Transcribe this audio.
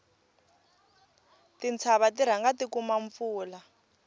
tintshava ti rhanga ti kuma mpfula